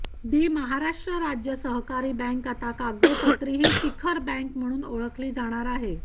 दि महाराष्ट्र राज्य सहकारी बँक आता कागदोपत्रीही शिखर बँक म्हणून ओळखली जाणार आहे